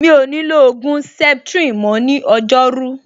Mi ò ní lo ògùn septrin mọ́ ní ọjọ́rú